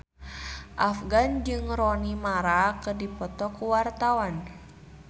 Afgan jeung Rooney Mara keur dipoto ku wartawan